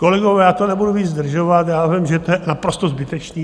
Kolegové, já to nebudu více zdržovat, já vím, že to je naprosto zbytečné.